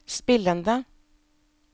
spillende